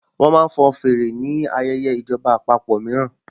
Wọ́n máa ń fọn fèrè ni ayẹyẹ ìjọba àpapọ̀ mìíràn